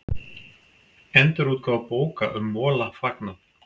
Endurútgáfu bóka um Mola fagnað